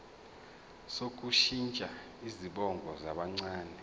sokushintsha izibongo zabancane